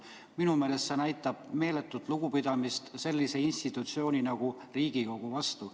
Minu meelest näitab see meeletut lugupidamist sellise institutsiooni nagu Riigikogu vastu.